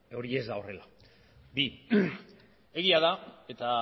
hori ez da horrela egia da eta